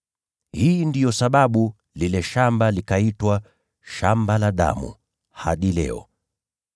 Hii ndiyo sababu lile shamba likaitwa Shamba la Damu hadi leo.